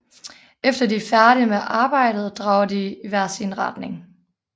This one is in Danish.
Efter de er færdige med arbejdet drager de i hver sin retning